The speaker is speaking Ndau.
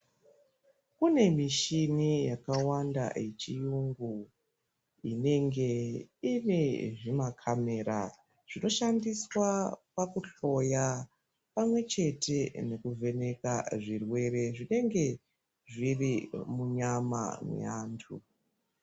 Kune mishini yakawanda yechirungu inenge ine zvimakamera zvinoshandiswa pakuhloya pamwe chete nekuvheneka zvirwere zvinenge zviri munyama memuntu.